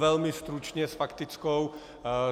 Velmi stručně s faktickou.